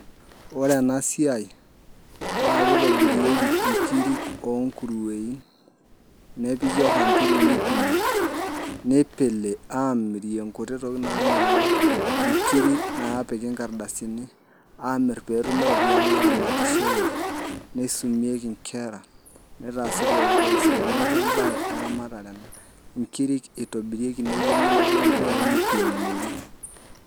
Ore ena siai naa kitobirieki nkiri oonguruweni nepiki orrandili nipimi nipili aamirie nkuti tokitin naamelook nkirik naapiki nkardasini aamirr pee etumi iropiyiani naaramatishoreki nisumieki nkera nitaasi pooki toki sidai, neeku embaye eramatare ena nkirik eitobirieki nepiki neyieng'i nepiki mpuyaai nipimorri.